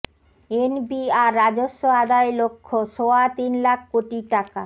NBR রাজস্ব আদায় লক্ষ্য সোয়া তিন লাখ কোটি টাকা